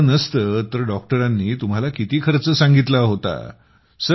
card नसतं तर डॉक्टरने तुम्हाला किती खर्च सांगितला होता